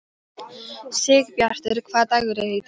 Sigbjartur, hvaða dagur er í dag?